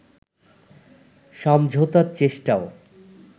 সমঝোতার চেষ্টাও